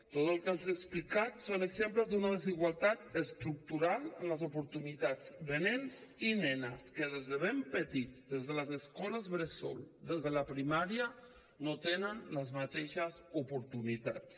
tot el que els he explicat són exemples d’una desigualtat estructural en les oportunitats de nens i nenes que des de ben petits des de les escoles bressol des de la primària no tenen les mateixes oportunitats